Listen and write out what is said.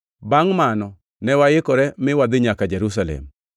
Bangʼ mano ne waikore mi wadhi nyaka Jerusalem.